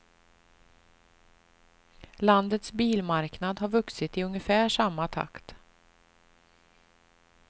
Landets bilmarknad har vuxit i ungefär samma takt.